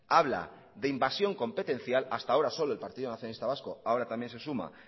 habla de invasión competencial hasta ahora solo el partido nacionalista vasco ahora también se suma